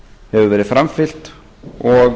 hefur verið framfylgt og